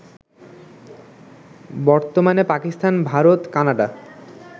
বর্তমানে পাকিস্তান, ভারত, কানাডা